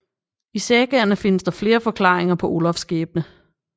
I sagaerne findes der flere forklaringer på Olafs skæbne